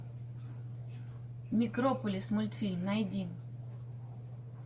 микрополис мультфильм найди